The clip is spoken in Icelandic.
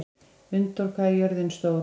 Unndór, hvað er jörðin stór?